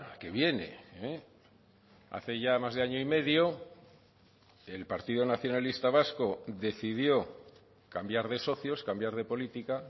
que viene hace ya más de año y medio el partido nacionalista vasco decidió cambiar de socios cambiar de política